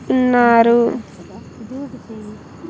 ఉన్నారు.